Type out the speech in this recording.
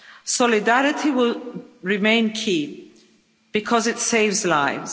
Solidarity will remain key, because it saves lives.